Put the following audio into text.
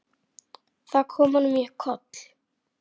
Það kom honum í koll.